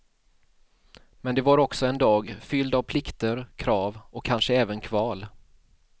Men det var också en dag, fylld av plikter, krav och kanske även kval.